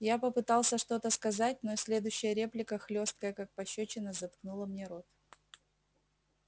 я попытался что-то сказать но следующая реплика хлёсткая как пощёчина заткнула мне рот